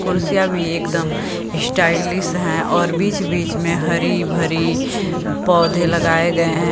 कुर्सियां भी एकदम स्टाइलिस्ट है और बीच बीच में हरी भरी पौधे लगायें गये है।